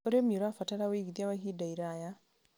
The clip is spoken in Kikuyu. ũrĩmi ũrabatara ũigithia wa ihinda iraya.